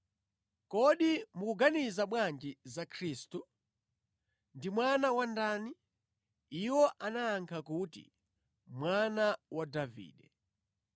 “Kodi mukuganiza bwanji za Khristu? Ndi Mwana wa ndani?” Iwo anayankha kuti, “Mwana wa Davide.”